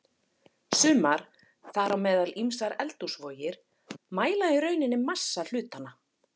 Sumar, þar á meðal ýmsar eldhúsvogir, mæla í rauninni massa hlutanna.